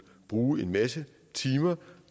bruge en masse timer